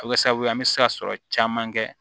A bɛ kɛ sababu ye an bɛ se ka sɔrɔ caman kɛ